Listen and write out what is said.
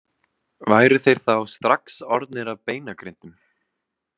Væru þeir þá strax orðnir að beinagrindum?